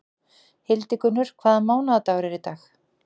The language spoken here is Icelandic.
Hildigunnur, hvaða mánaðardagur er í dag?